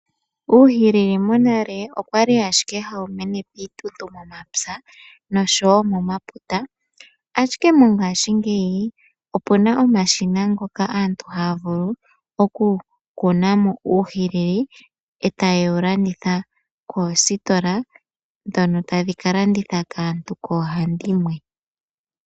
Uuhilili monale owa li ashike ha wu mene momapya nenge momaputa ashike mongaashingeyi, opu na omashina ngoka aantu ha ya vulu okukuna mo uuhilili e ta ye wu landitha, koositola ndhoka tadhi ka landitha kwaantu koohandimwe.